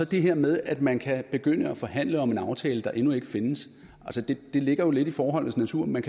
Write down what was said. det her med at man kan begynde at forhandle om en aftale der endnu ikke findes altså det ligger jo lidt i forholdets natur at man